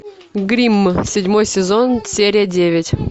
гримм седьмой сезон серия девять